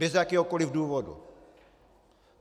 Bez jakéhokoliv důvodu.